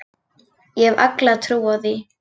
Ég hef alla trú á því.